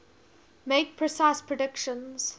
make precise predictions